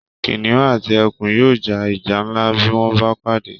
kìnìún àti ẹkùn yóò ja ìjà ńlá bí wọ́n bá pàdé